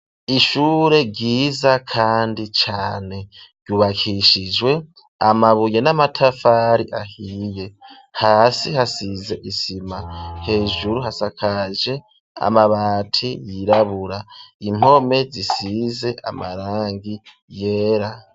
Ishure ryiza kandi cane, ryubakishijwe amabuye n'amatafari ahiye, hasi hasize isima, hejuru hasakaje amabati yirabura, impome zisize amarangi yera.